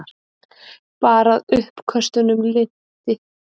Bara að uppköstunum linnti.